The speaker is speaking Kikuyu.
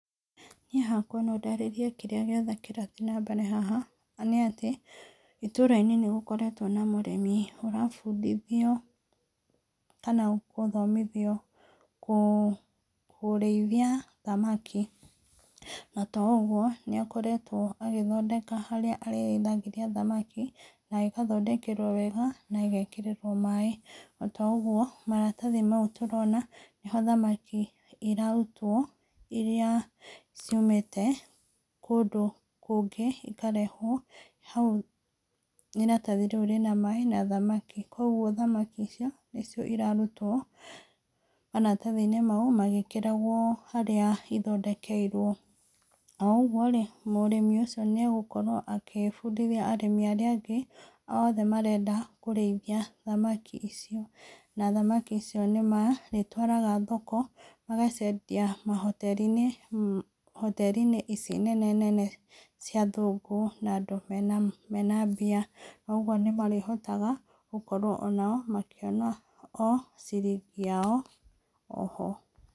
Niĩ hakwa no ndarĩrie kĩrĩa gĩothe kĩrathiĩ na mbere haha, nĩ atĩ itũra-inĩ nĩgũkoretwo na mũrĩmi ũrabindithio, kana gũthomithio kũ kũrĩithia thamaki, na to ũguo nĩ akoretwo agĩthondeka harĩa arĩrĩithagĩria thamaki na igathondekerwo wega na igekĩrĩrwo maaĩ, na to ũguo maratathi mau tũrona, nĩ ho thamaki irarũtwo irĩa ciũmĩte kũndũ kũngĩ ikarehwo, hau iratathi rĩũ rĩ na maaĩ rĩ na thamaki, kogwo thamaki icio nĩ cio irarutwo maratathi-inĩ mau magĩkĩragwo harĩa ithondekeirwo, o ũguo-rĩ mũrĩmi ũcio nĩ agũkorwo agĩbundithia arĩmi arĩa angĩ othe marenda kũrĩithia thamaki icio, na thamaki icio nĩ marĩtwaraga thoko, magaciendia mahoteri-inĩ, hoteri-inĩ ici nene nene cia athũngũ na andũ mena mbia, na ũguo nĩ marĩhota gũkorwo onao makĩona ciringi yao oho.